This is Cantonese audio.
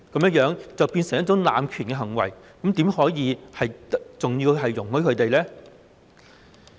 這樣便會變成濫權的行為，怎可以容許他們這樣做呢？